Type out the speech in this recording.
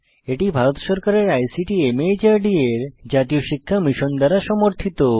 এটি ভারত সরকারের আইসিটি মাহর্দ এর জাতীয় শিক্ষা মিশন দ্বারা সমর্থিত